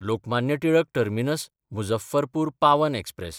Lokmanya Tilak टर्मिनस–मुझफ्फरपूर Pawan express